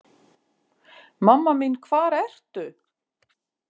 Mamma mín hvar ertu?